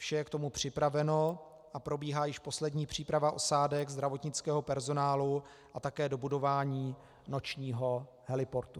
Vše je k tomu připraveno a probíhá již poslední příprava osádek, zdravotnického personálu a také dobudování nočního heliportu.